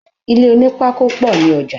Ilé onípákó pọ̀ ní ọjà.